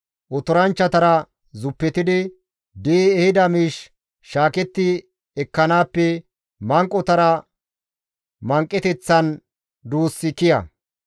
Otoranchchatara zuppetidi di7i ehida miish shaaketti ekkanaappe manqotara manqeteththan duussi kiya.